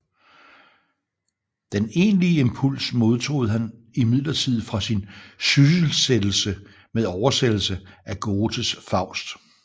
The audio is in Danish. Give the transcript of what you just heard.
Den egentlige impuls modtog han imidlertid fra sin sysselsættelse med oversættelse af Goethes Faust